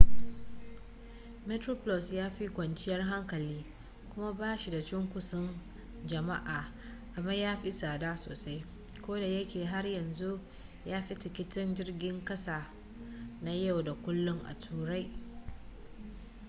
metroplus ya fi kwanciyar hankali kuma ba shi da cunkoson jama'a amma ya fi tsada sosai kodayake har yanzu ya fi tikitin jirgin ƙasa na yau da kullun a turai